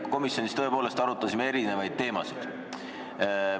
Me komisjonis tõepoolest arutasime erinevaid teemasid.